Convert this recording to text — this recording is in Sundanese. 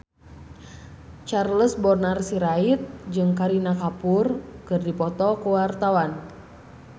Charles Bonar Sirait jeung Kareena Kapoor keur dipoto ku wartawan